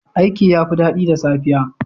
Aiki yafi dadi da safiya.